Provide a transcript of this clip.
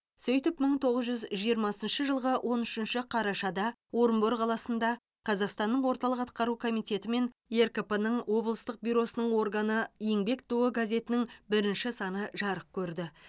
сөйтіп мың тоғыз жүз жиырмасыншы жылғы он үшінші қарашада орынбор қаласында қазақстан орталық атқару комитеті мен ркп ның облыстық бюросының органы еңбек туы газетінің бірінші саны жарық көрді